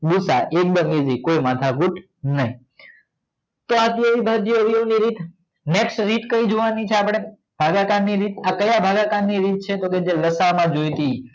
એકદમ એસી કોઈ માથા કૂટ નય તો આ હતી અવિભાજ્ય અવયવો ની રીત હવે નેક્સ્ટ કઈ રીત જોંવાણી છે આપડે ભાગાકાર ની રીત કઈ ભાગાકાર ની રીત આ જે લાસઅ માં જોઈતી ઈ